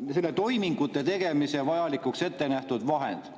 vajalike toimingute tegemiseks ette nähtud vahend.